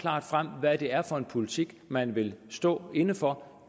klart frem hvad det er for en politik man vil stå inde for